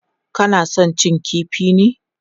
Kana son cin kifi ne?